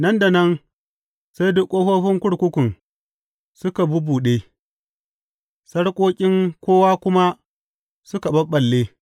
Nan da nan sai duk ƙofofin kurkukun suka bubbuɗe, sarƙoƙin kowa kuma suka ɓaɓɓalle.